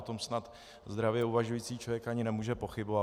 O tom snad zdravě uvažující člověk ani nemůže pochybovat.